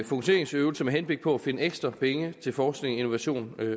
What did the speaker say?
fokuseringsøvelse med henblik på at finde ekstra penge til forskning innovation